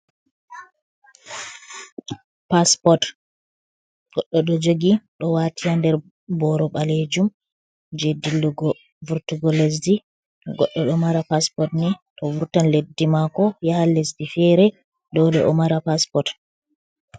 Paspot goɗɗo ɗo jogi ɗo waati nder boro ɓalejum je dillugo vurtugo lesdi. Goɗɗo ɗo mara paspot ni toh vurtan leddi mako yaha lesdi fere dole o mara paspot.